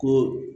Ko